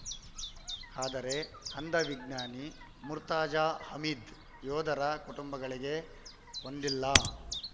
ಆದರೆ ಅಂಧ ವಿಜ್ಞಾನಿ ಮುರ್ತಾಜಾ ಹಮೀದ್ ಯೋಧರ ಕುಟುಂಬಗಳಿಗೆ ಒಂದಲ್ಲ